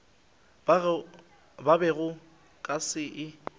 ke bego ke sa e